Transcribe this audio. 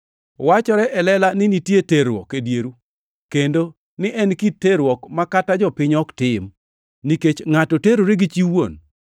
Wachore e lela ni nitie terruok e dieru, kendo ni en kit terruok ma kata jopiny ok tim; nikech ngʼato terore gi chi wuon.